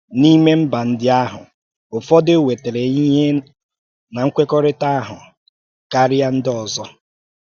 N’ime mba ndị ahụ, ụfọdụ nwètarà ihe ná nkwékọrịtà ahụ karịa ndị ọzọ.